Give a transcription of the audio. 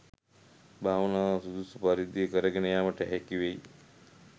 භාවනාව සුදුසු පරිදි කරගෙන යෑමට හැකි වෙයි.